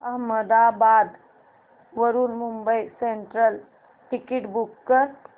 अहमदाबाद वरून Mumbai central ticket book कर